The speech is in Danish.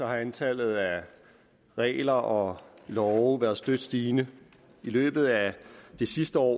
har antallet af regler og love været støt stigende i løbet af det sidste år